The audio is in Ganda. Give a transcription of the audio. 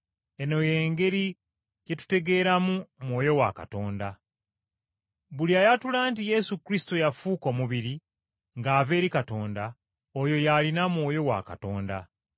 Eno y’engeri gye tutegeeramu Mwoyo wa Katonda: buli ayatula nti Yesu Kristo yafuuka omubiri, ng’ava eri Katonda, oyo y’alina Mwoyo wa Katonda.